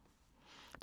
DR2